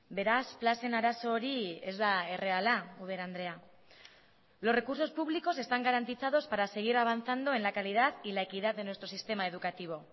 beraz plazen arazo hori ez da erreala ubera andrea los recursos públicos están garantizados para seguir avanzando en la calidad y la equidad de nuestro sistema educativo